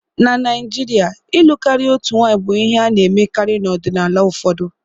Na Naijiria, ịlụ karịa otu nwanyị bụ ihe a na-emekarị n'ọdịnala ụfọdụ.